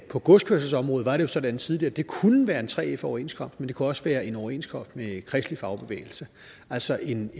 på godskørselsområdet var det jo sådan tidligere at det kunne være en 3f overenskomst men det kunne også være en overenskomst med kristelig fagbevægelse altså en